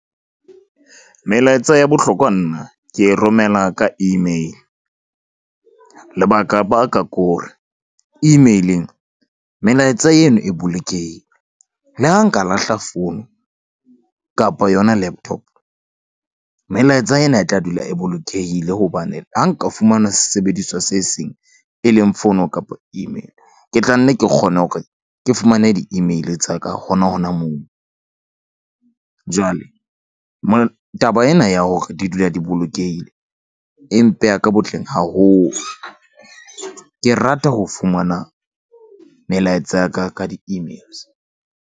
Melaetsa ya bohlokwa nna ke e romela ka email lebaka baka kore email-eng melaetsa eno e bolokehile. Le ha nka lahla fono kapa yona laptop. Melaetsa ena e tla dula e bolokehile hobane ha nka fumana sesebediswa se seng e leng fono kapa email. Ke tla nne ke kgone hore ke fumane di-email tsa ka hona hona moo. Jwale taba ena ya hore di dula di bolokehile e mpeya ka botleng haholo. Ke rata ho fumana melaetsa ya ka ka di-emails.